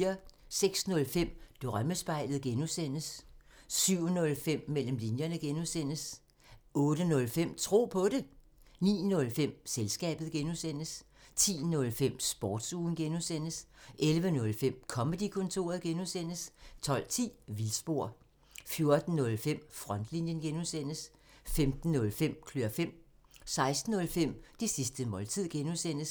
06:05: Drømmespejlet (G) 07:05: Mellem linjerne (G) 08:05: Tro på det 09:05: Selskabet (G) 10:05: Sportsugen (G) 11:05: Comedy-kontoret (G) 12:10: Vildspor 14:05: Frontlinjen (G) 15:05: Klør fem 16:05: Det sidste måltid (G)